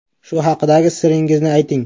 Shu haqidagi siringizni ayting.